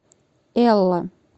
элла